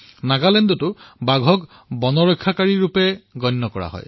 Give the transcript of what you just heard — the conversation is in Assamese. নাগালেণ্ডতো বাঘক বনৰ ৰক্ষক হিচাপে স্বীকাৰ কৰা হয়